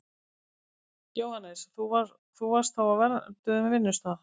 Jóhannes: Þú varst þá á vernduðum vinnustað?